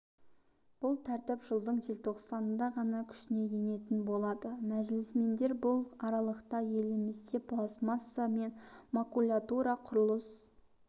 бұл тәртіп жылдың желтоқсанында ғана күшіне енетін болады мәжілісмендер бұл аралықта елімізде пластмасса мен макулатура құрылыс